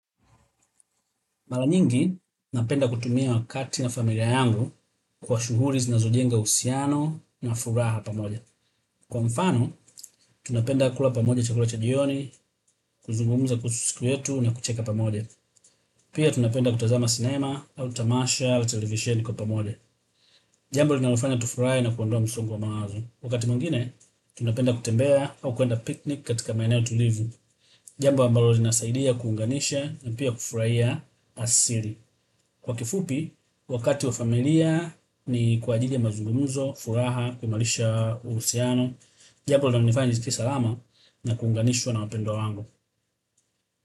Mara nyingi, napenda kutumia wakati na familia yangu kwa shughuli zinazojenga uhusiano na furaha pamoja. Kwa mfano, tunapenda kula pamoja chakula cha jioni, kuzungumuza kuhusu siku yetu na kucheka pamoja. Pia, tunapenda kutazama sinema au tamasha wa television kwa pamoja. Jambo linalofanya tufurahi na kuondoa msongo wa maazo. Wakati mwingine, tunapenda kutembea au kuenda picnic katika maeneo tulivu. Jambo ambalo linasaidia kuunganisha na pia kufurahia asili. Kwa kifupi, wakati wa familia ni kwa ajili ya mazungumuzo, furaha, kuimarisha, uhusiano jambo linalonifanya nisikie salama na kuunganishwa na wapendwa wangu.